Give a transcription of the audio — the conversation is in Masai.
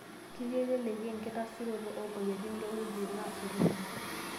Ketii eleleki engitasuroto oomoyiaritin toowetin naasotoreki